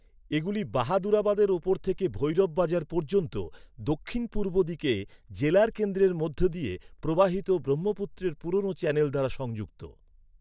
এগুলি বাহাদুরাবাদের উপর থেকে ভৈরব বাজার পর্যন্ত দক্ষিণ পূর্ব দিকে জেলার কেন্দ্রের মধ্য দিয়ে প্রবাহিত ব্রহ্মপুত্রের পুরনো চ্যানেল দ্বারা সংযুক্ত।